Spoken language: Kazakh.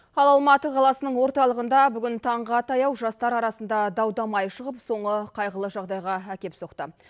ал алматы қаласының орталығында бүгін таңға таяу жастар арасында дау дамай шығып соңы қайғылы жағдайға әкеп соқты